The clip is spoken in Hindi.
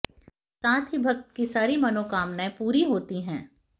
साथ ही भक्त की सारी मनोकामनाएं पूरी होती हैं